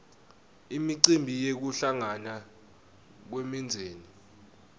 imicimbi yekuhlangana kwemindzeni